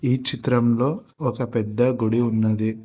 ఈ చిత్రంలో ఒక పెద్ద గుడి ఉన్నది.